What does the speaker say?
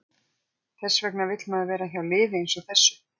Þess vegna vill maður vera hjá liði eins og þessu.